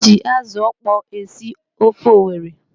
E ji azụ ọkpọọ esi ofe Owere.